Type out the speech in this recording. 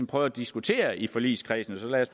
prøve at diskutere i forligskredsen og så lad os